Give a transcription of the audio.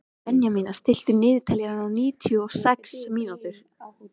Bergmannía, stilltu niðurteljara á níutíu og sex mínútur.